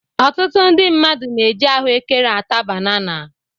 Ọtụtụ ndị mmadụ na-eji ahụekere ata banana.